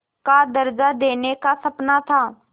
का दर्ज़ा देने का सपना था